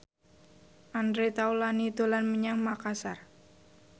Andre Taulany dolan menyang Makasar